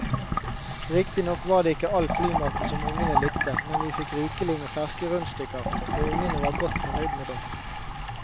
Riktignok var det ikke all flymaten som ungene likte, men vi fikk rikelig med ferske rundstykker og ungene var godt fornøyd med det.